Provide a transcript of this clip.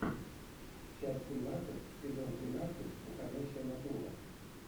часть семнадцать сезон тринадцать уходящая натура